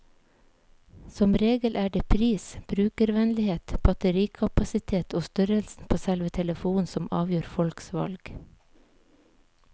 Som regel er det pris, brukervennlighet, batterikapasitet og størrelsen på selve telefonen som avgjør folks valg.